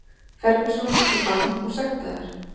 Ferguson í bann og sektaður